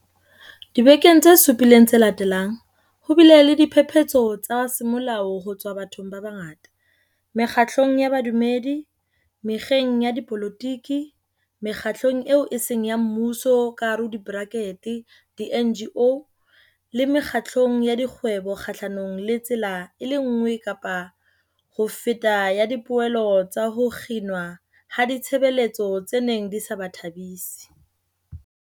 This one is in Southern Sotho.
Dibekeng tse supileng tse latelang, ho bile le diphephetso tsa semolao ho tswa bathong ba bangata, mekgatlong ya bodumedi, mekgeng ya dipolotiki, Mekgatlong eo e Seng ya Mmuso di-NGO le mekgatlong ya dikgwebo kgahlanong le tsela e le nngwe kapa ho feta ya dipehelo tsa ho kginwa ha ditshebeletso tse neng di sa ba thabisi.